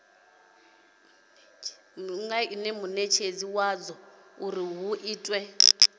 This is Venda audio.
munetshedzi wadzo uri hu itwe